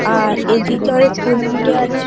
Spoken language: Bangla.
এর এদিকে ফুল ফুটে আছে।